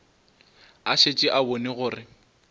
a šetše a bone gore